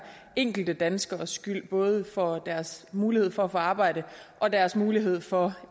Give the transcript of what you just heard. enkelte danskeres skyld både for deres mulighed for at få arbejde og deres mulighed for